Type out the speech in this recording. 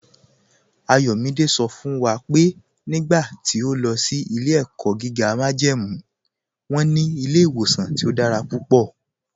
Ayọ̀mídẹ̀ sọ fún wa pé nígbà tí ọ̀ lọ sí ilẹ̀-ẹ̀kọ́ gígá májẹ́mú wọn ní ilẹ̀-ìwọ̀sàn tí ọ̀ dára púpọ̀.